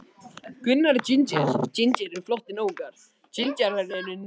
Eins og boxarar fyrir fyrstu lotu.